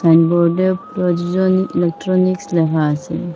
Sign বোর্ডে প্রযোজনী electronics লেখা আসে।